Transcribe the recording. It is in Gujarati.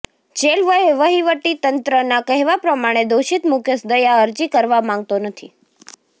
જેલ વહીવટીતંત્રના કહેવા પ્રમાણે દોષિત મુકેશ દયા અરજી કરવા માંગતો નથી